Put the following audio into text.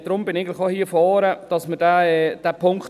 Deshalb bin ich auch nach vorne gekommen.